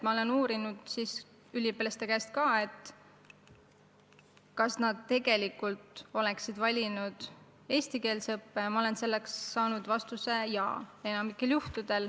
Ma olen üliõpilaste käest uurinud, kas nad tegelikult oleksid valinud eestikeelse õppe, ja olen enamikul juhtudel saanud vastuse "jaa".